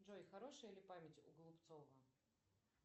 джой хорошая ли память у голубцова